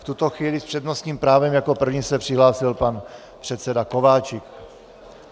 V tuto chvíli s přednostním právem jako první se přihlásil pan předseda Kováčik.